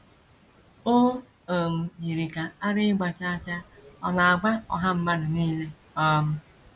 O um yiri ka ara ịgba chaa chaa ọ̀ na - agba ọha mmadụ nile um.